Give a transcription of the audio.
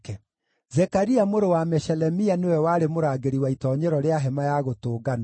Zekaria mũrũ wa Meshelemia nĩwe warĩ mũrangĩri wa itoonyero rĩa Hema-ya-Gũtũnganwo.